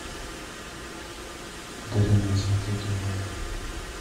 одаренная смотреть онлайн